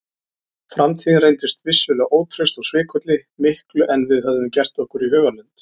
Framtíðin reyndist vissulega ótraust og svikulli miklu en við höfðum gert okkur í hugarlund.